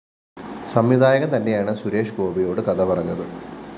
സംവിധായകന്‍ തന്നെയാണ് സുരേഷ് ഗോപിയോട് കഥ പറഞ്ഞത്